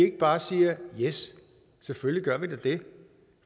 ikke bare siger yes selvfølgelig gør vi da det